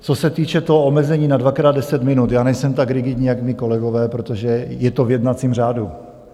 Co se týče toho omezení na dvakrát deset minut, já nejsem tak rigidní, jak mí kolegové, protože je to v jednacím řádu.